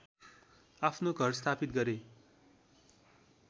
आफ्नो घर स्थापित गरे